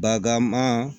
Bagaaman